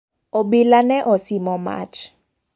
Obila ne osimo mach.